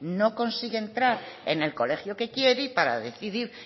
no consigue entrar en el colegio que quiere y para decidir